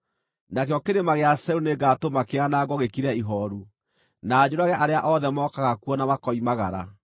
Nakĩo Kĩrĩma gĩa Seiru nĩngatũma kĩanangwo gĩkire ihooru, na njũrage arĩa othe mokaga kuo na makoimagara.